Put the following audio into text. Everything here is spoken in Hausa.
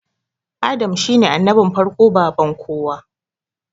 Adam shine annabin farko baban kowa